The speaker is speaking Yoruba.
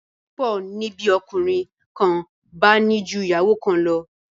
ìlóbìrin púpọ ni bí ọkùnrin kán bá ní jù ìyàwó kán lọ